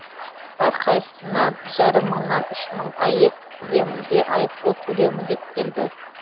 әрқайсысына бір жарым мыңнан үш мың аек көлемінде айыппұл төлеу міндеттелді